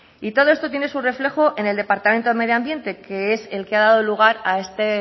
y todo esto tiene su reflejo en el departamento de medio ambiente que es el que ha dado lugar a este